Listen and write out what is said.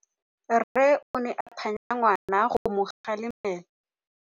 Rre o ne a phanya ngwana go mo galemela.